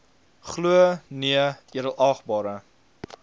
glo nee edelagbare